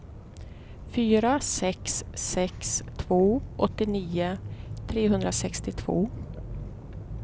fyra sex sex två åttionio trehundrasextiotvå